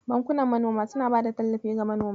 Bankunan manoma suna bada tallafi ga manoma.